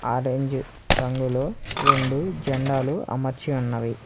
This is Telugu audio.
ఆరెంజ్ రంగులో రెండు జెండాలు అమర్చి ఉన్నవి.